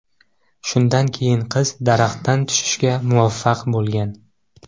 Shundan keyin qiz daraxtdan tushishga muvaffaq bo‘lgan.